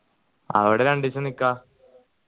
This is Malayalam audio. അവിടെ രണ്ട് ദിവസം നിക്ക